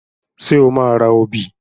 Ṣé o máa ra obì?